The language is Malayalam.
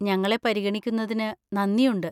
ഞങ്ങളെ പരിഗണിക്കുന്നതിന് നന്ദിയുണ്ട്.